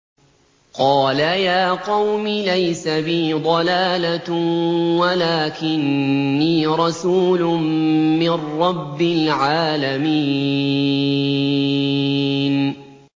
قَالَ يَا قَوْمِ لَيْسَ بِي ضَلَالَةٌ وَلَٰكِنِّي رَسُولٌ مِّن رَّبِّ الْعَالَمِينَ